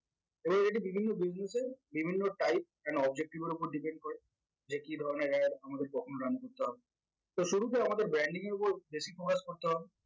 এবার এটি বিভিন্ন business এ বিভিন্ন type and objective এর উপর depend করে যে কি ধরনের ad আমাদের কখন run করতে হবে তো শুরুতে আমাদের branding এর উপর basic করতে হবে